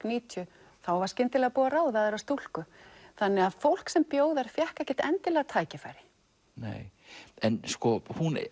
níutíu þá var skyndilega búið að ráða aðra stúlku þannig að fólk sem bjó þar fékk ekkert endilega tækifæri nei en sko